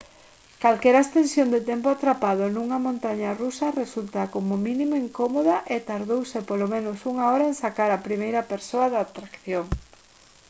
calquera extensión de tempo atrapado nunha montaña rusa resulta como mínimo incómoda e tardouse polo menos unha hora en sacar á primeira persoa da atracción»